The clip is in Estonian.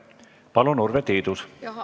Palun, Urve Tiidus!